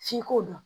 F'i k'o dɔn